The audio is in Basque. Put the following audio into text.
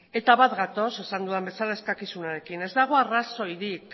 eta bat gatoz esan dudan bezala eskakizunarekin ez dago arrazoirik